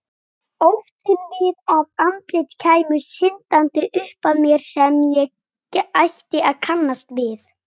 Óttinn við að andlit kæmu syndandi upp að mér sem ég ætti að kannast við.